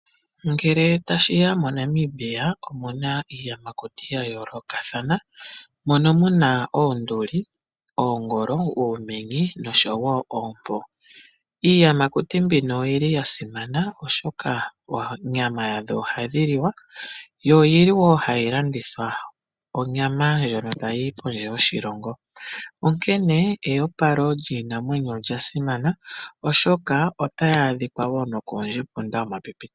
Ngele tashi ya moNamibia omu na iiyamakuti ya yoolokathana. Mono mu na oonduli, oongolo, oomenye nosho wo oompo. Iiyamakuti mbino oyi li ya simana, oshoka oonyama yadho ohayi liwa yo oyi li wo hayi landithwa onyama ndjono tayi yi pondje yoshilongo. Onkene eopalo lyiinamwenyo olya simana, oshoka otayi adhika wo nokoondjepunda yomapipi.